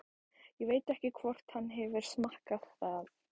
Ég veit ekki hvort hann hefur smakkað það.